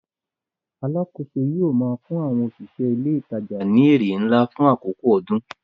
Alákòóso yóò máa fún àwọn òṣìṣẹ́ ilé ìtajà ní èrè ńlá fún àkókò ọdún.